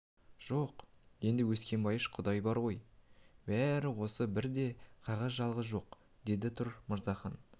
жоқ енді өскенбайыш құдай бар ғой бәрі осы бір де қағаз қалған жоқ деді тұр мырзахан